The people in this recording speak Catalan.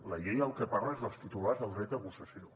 la llei del que parla és dels titulars del dret a possessió